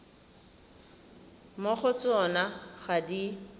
mo go tsona ga di